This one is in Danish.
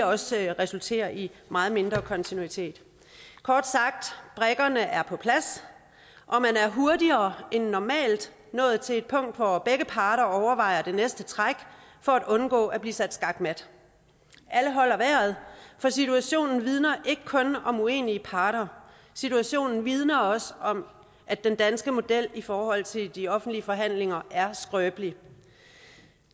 også vil resultere i meget mindre kontinuitet kort sagt brikkerne er på plads og man er hurtigere end normalt nået til et punkt hvor begge parter overvejer det næste træk for at undgå at blive sat skakmat alle holder vejret for situationen vidner ikke kun om uenige parter situationen vidner også om at den danske model i forhold til de offentlige forhandlinger er skrøbelig